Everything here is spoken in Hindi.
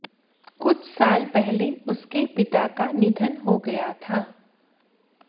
कुछ साल पहले उसके पिता का निधन हो गया था